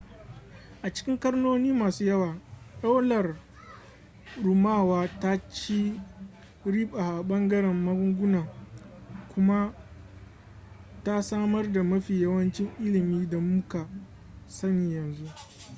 a cikin ƙarnoni masu yawa daular rumawa ta ci riba a ɓangaren magunguna kuma ta samar da mafi yawancin ilimin da mu ka sani yanzu